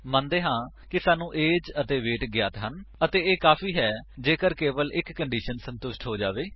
ਮੰਨਦੇ ਹਾਂ ਕਿ ਸਾਨੂੰ ਏਜ ਅਤੇ ਵੇਟ ਗਿਆਤ ਹਨ ਅਤੇ ਇਹ ਕਾਫੀ ਹੈ ਜੇਕਰ ਕੇਵਲ ਇੱਕ ਕੰਡੀਸ਼ਨ ਸੰਤੁਸ਼ਟ ਹੋ ਜਾਵੇ